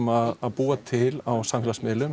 að búa til á samfélagsmiðlum